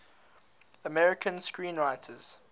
american screenwriters